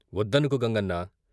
"వొద్దనకు గంగన్నా....